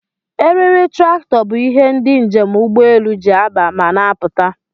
Eriri trakto bu ihe ndi njem ụgbọ elụ ji aba ma n'apụta